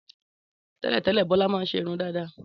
Télètélè, Bọ́lá ma n ṣe irun dàda